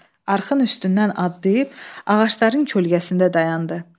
Arxın üstündən addayıb, ağacların kölgəsində dayandı.